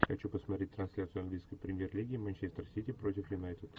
хочу посмотреть трансляцию английской премьер лиги манчестер сити против юнайтед